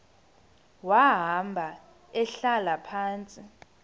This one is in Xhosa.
wahamba ehlala phantsi